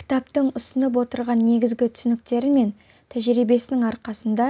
кітаптың ұсынып отырған негізгі түсініктері мен тәжірибесінің арқасында